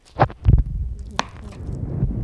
Kũhuhĩria foliar